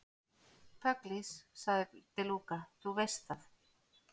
Pugliese, sagði De Luca, þú veist það.